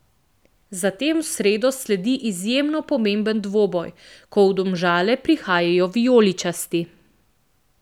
Zatem v sredo sledi izjemno pomemben dvoboj, ko v Domžale prihajajo vijoličasti.